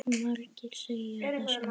Margir segja það sama.